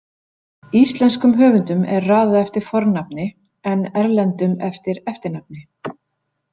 Íslenskum höfundum er raðað eftir fornafni en erlendum eftir eftirnafni.